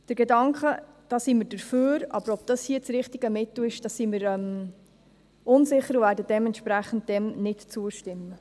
Der Gedanke – da sind wir dafür, aber ob dies das richtige Mittel ist, darin sind wir unsicher, und werden dem dementsprechend nicht zustimmen.